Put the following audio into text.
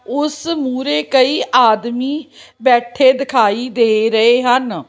ਉਸ ਮੂਰੇ ਕਈ ਆਦਮੀ ਬੈਠੇ ਦਿਖਾਈ ਦੇ ਰਹੇ ਹਨ।